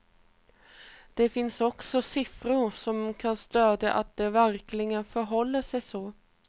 Det finns också siffror som kan stödja att det verkligen förhåller sig så.